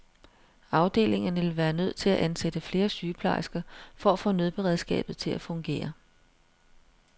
Afdelingerne ville være nødt til at ansætte flere sygeplejersker for at få nødberedskabet til at fungere.